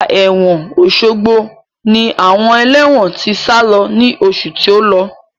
Ọgbà ẹ̀wọ̀n Osogbo ni àwọn ẹlẹ́wọ̀n tí sálo ní oṣù tí ó lọ.